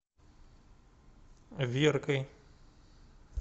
веркой